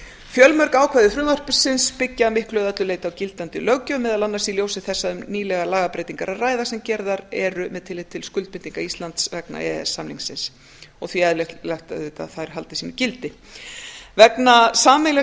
fjölmörg ákvæði frumvarpsins byggja að miklu eða öllu leyti á gildandi löggjöf meðal annars í ljósi þess að um nýlegar lagabreytingar er að ræða sem gerðar eru með tilliti til skuldbindinga íslands vegna e e s samningsins og því eðlilegt að þær haldi gildi vegna sameiginlegs